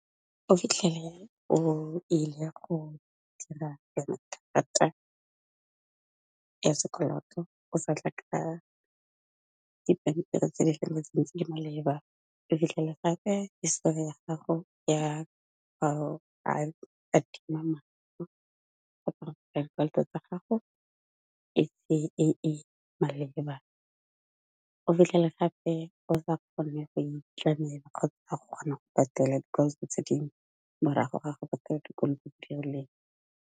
O fitlhele e le go dira yona karata ya sekoloto o sa tla ka dipampiri tse di feletseng tse di maleba, o fitlhela gape hisetori ya gago ya ga adima dikoloto tsa gago e se e e maleba. O fitlhele gape o sa kgone go itlamela kgotsa go kgona go patela dikoloto tse dingwe morago ga go patela dikoloto tse di rileng.